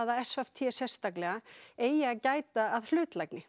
að s v t eigi að gæta hlutlægni